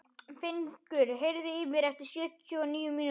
Fengur, heyrðu í mér eftir sjötíu og níu mínútur.